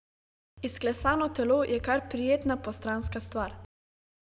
Izklesano telo je kar prijetna postranska stvar.